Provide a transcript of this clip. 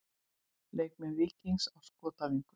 Leikmenn Víkings á skotæfingu.